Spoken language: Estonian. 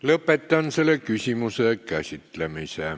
Lõpetan selle küsimuse käsitlemise.